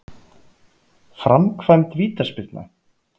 Framkvæmd vítaspyrna?